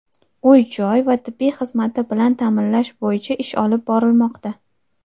uy-joy va tibbiy xizmati bilan ta’minlash bo‘yicha ish olib bormoqda.